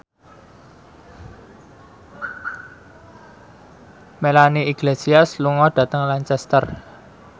Melanie Iglesias lunga dhateng Lancaster